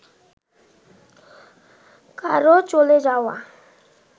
কারও চলে যাওয়া